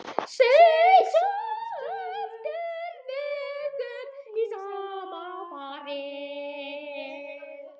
Seig svo aftur niður í sama farið.